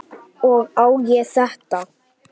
Og á ég þetta?